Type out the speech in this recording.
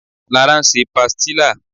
Lara ń ṣe pastilla